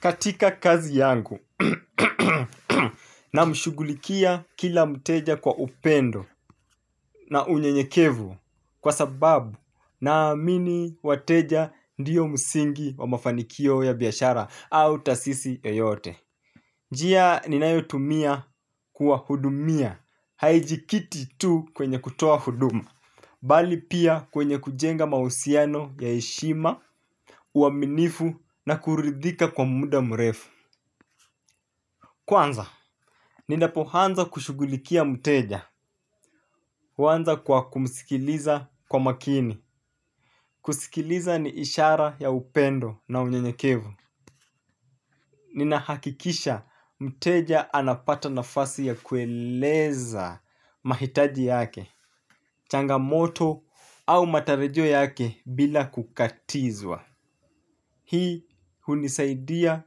Katika kazi yangu na mshughulikia kila mteja kwa upendo na unyenyekevu kwa sababu naamini wateja ndiyo msingi wa mafanikio ya biashara au taasisi yoyote. Njia ninayotumia kuwahudumia haijikiti tu kwenye kutoa huduma, bali pia kwenye kujenga mahusiano ya heshima, uaminifu na kuridhika kwa muda mrefu. Kwanza, ninapoanza kushughulikia mteja, kuanza kwa kumsikiliza kwa makini. Kusikiliza ni ishara ya upendo na unyenyekevu. Ninahakikisha mteja anapata nafasi ya kueleza mahitaji yake. Changamoto au matarajio yake bila kukatizwa. Hii hunisaidia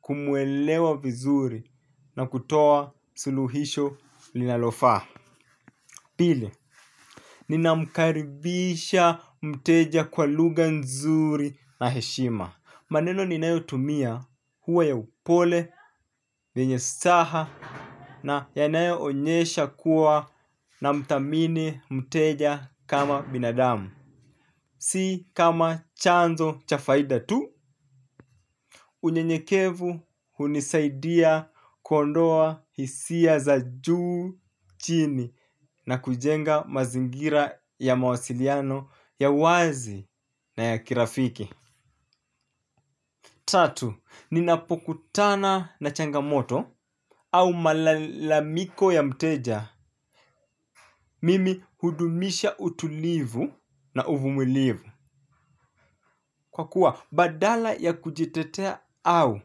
kumuelewa vizuri na kutoa suluhisho linalofaa pili, ninamkaribisha mteja kwa lugha nzuri na heshima maneno ninayotumia huwa ya upole yenye saha na yanayoonesha kuwa namdhamini mteja kama binadamu. Si kama chanzo cha faida tu. Unyenyekevu hunisaidia kuondoa hisia za juu chini na kujenga mazingira ya mawasiliano ya wazi na ya kirafiki. Tatu, ninapokutana na changamoto au malalamiko ya mteja mimi hudumisha utulivu na uvumilivu. Kwa kuwa badala ya kujitetea au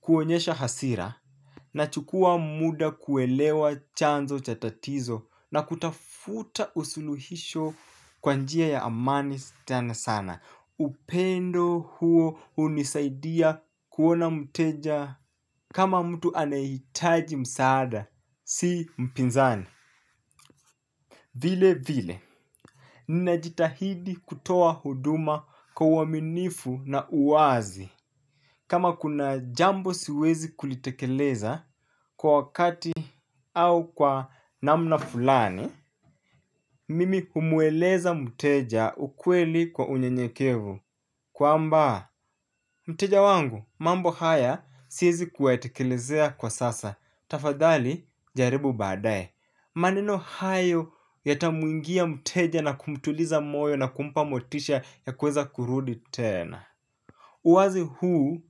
kuonyesha hasira nachukua muda kuelewa chanzo cha tatizo na kutafuta usuluhisho kwa njia ya amani tena sana. Upendo huo hunisaidia kuona mteja kama mtu anayehitaji msaada si mpinzani. Vile vile, ninajitahidi kutoa huduma kwa uaminifu na uwazi. Kama kuna jambo siwezi kulitekeleza kwa wakati au kwa namna fulani, mimi kumueleza mteja ukweli kwa unyenyekevu. Kwamba mteja wangu, mambo haya siezi kuyatekelezea kwa sasa, tafadhali jaribu baadaye, maneno hayo yatamwingia mteja na kumtuliza moyo na kumpa motisha ya kuweza kurudi tena. Uwazi huu,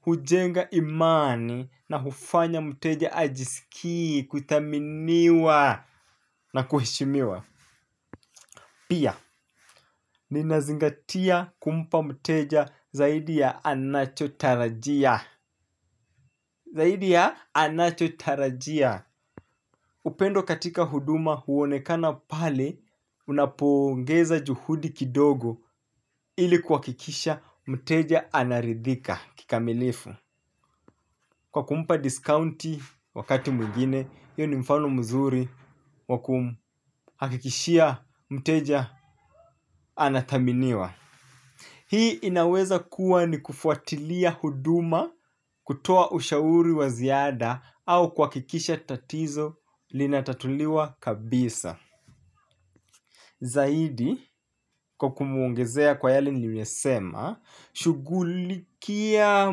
hujenga imani na hufanya mteja ajisikie, kuthaminiwa na kuheshimiwa. Pia, ninazingatia kumpa mteja zaidi ya anachotarajia. Zaidi ya anachotarajia upendo katika huduma huonekana pale unapoongeza juhudi kidogo ili kuhakikisha mteja anaridhika kikamilifu. Kwa kumpa diskaunti wakati mwingine iyo ni mfano mzuri wa kumhakikishia mteja anadhaminiwa. Hii inaweza kuwa ni kufuatilia huduma kutoa ushauri wa ziada au kuhakikisha tatizo linatatuliwa kabisa. Zaidi kwa kumuongezea kwa yale nimesema, shugulikia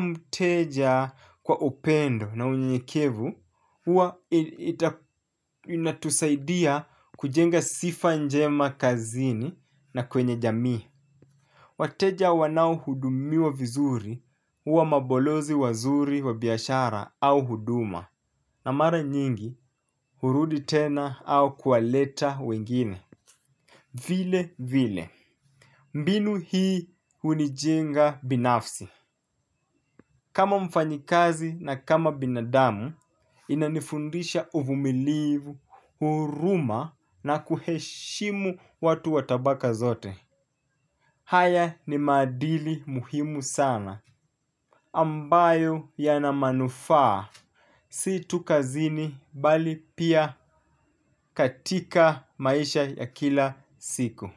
mteja kwa upendo na unyenyekevu, huwa inatusaidia kujenga sifa njema kazini na kwenye jamii. Wateja wanaohudumiwa vizuri huwa mabolozi wazuri wa biashara au huduma. Na mara nyingi hurudi tena au kuwaleta wengine. Vile vile. Mbinu hii hunijenga binafsi. Kama mfanyikazi na kama binadamu, inanifundisha uvumilivu, huruma na kuheshimu watu wa tabaka zote. Haya ni maadili muhimu sana. Ambayo yanamanufaa, si tu kazini bali pia katika maisha ya kila siku.